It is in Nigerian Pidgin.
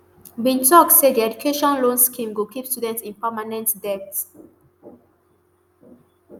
bin tok say di education loan scheme go keep students in permanent debt